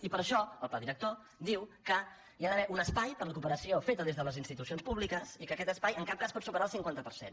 i per això el pla director diu que hi ha d’haver un espai per a la cooperació feta des de les institucions públiques i que aquest espai en cap cas pot superar el cinquanta per cent